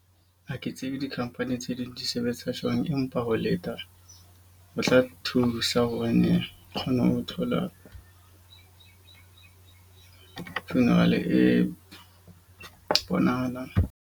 Ha ke tsebe di-company tse ding di sebetsa jwang. Empa ho leta ho tla thusa hobane o kgona ho thola funeral e bonahalang.